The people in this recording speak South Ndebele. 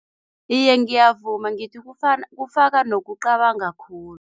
Iye, ngiyavuma, ngithi kufaka nokucabanga khulu.